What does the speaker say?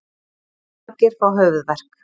Margir fá höfuðverk.